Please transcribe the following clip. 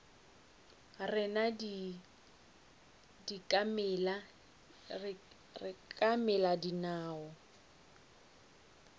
rena di ka mela dinao